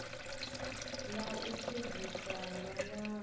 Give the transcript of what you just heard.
ḽa u fhedzisa ḽa ṅwaha